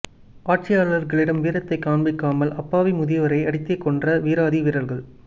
ஆட்சியாளர்களிடம் வீரத்தை காண்பிக்காமல் அப்பாவி முதியவரை அடித்தே கொன்ற வீராதி வீரர்கள்